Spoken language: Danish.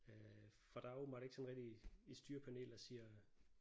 Øh for der er åbenbart ikke sådan rigtigt et styrepanel der siger